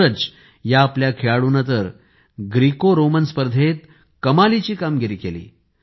सूरज या आपल्या खेळाडूने तर ग्रीकोरोमन स्पर्धेत कमालीची कामगिरी केली